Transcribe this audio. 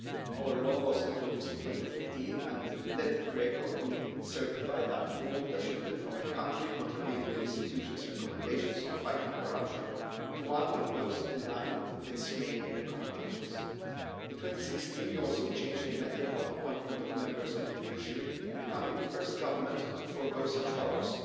Our law was introduced in 2015 and led Greco to certify that Malta shifted from a country contravening the institution's recommendations on fighting corruption to one of those in line with its main recommendations. In 2016 we also change the method of appointment of members of the judiciary, becoming the first government to forgo such powers.